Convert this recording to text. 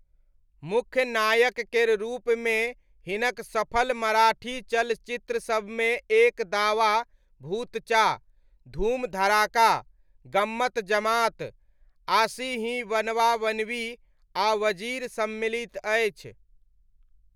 मुख्य नायक केर रूपमे हिनक सफल मराठी चलचित्रसबमे एक दावा भूतचा, धूम धड़ाका, गम्मत जमात, आशी ही बनवा बनवी आ वजीर सम्मिलित अछि।